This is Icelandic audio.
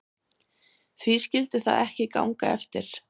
Því skyldi það ekki ganga eftir?